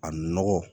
A nɔgɔ